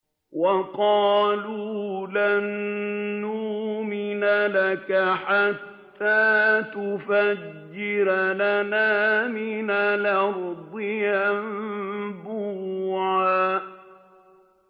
وَقَالُوا لَن نُّؤْمِنَ لَكَ حَتَّىٰ تَفْجُرَ لَنَا مِنَ الْأَرْضِ يَنبُوعًا